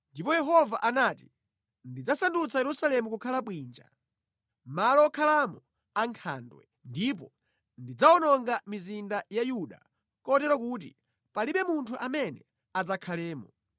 Ndipo Yehova anati, “Ndidzasandutsa Yerusalemu kukhala bwinja, malo okhalamo ankhandwe; ndipo ndidzawononga mizinda ya Yuda kotero kuti palibe munthu amene adzakhalemo.”